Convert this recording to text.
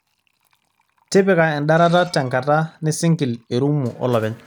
tipika endarata tenakata nisingil erumu olopeny